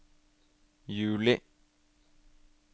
juli